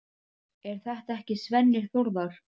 Er þetta ekki Svenni Þórðar?